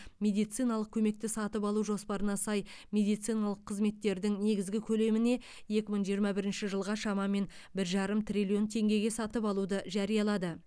медициналық көмекті сатып алу жоспарына сай медициналық қызметтердің негізгі көлеміне екі мың жиырма бірінші жылға шамамен бір жарым триллион теңгеге сатып алуды жариялады